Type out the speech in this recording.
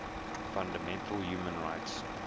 fundamental human rights